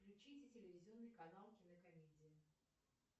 включите телевизионный канал кинокомедия